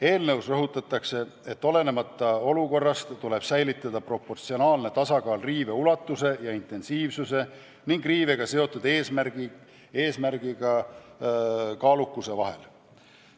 Eelnõus rõhutatakse, et olenemata olukorrast tuleb säilitada proportsionaalne tasakaal riive ulatuse ja intensiivsuse ning riivega seotud eesmärgi kaalukuse vahel.